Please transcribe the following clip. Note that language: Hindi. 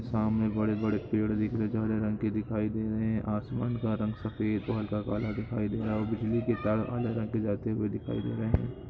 सामने बड़े-बड़े पेड़ दिख रहे हैं जो हरे रंग के दिखाई दे रहे हैं आसमान का रंग सफेद और हल्का काला दिखाई दे रहा है और बिजली के तार जाते हुए दिखाई दे रहे है।